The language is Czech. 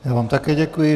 Já vám také děkuji.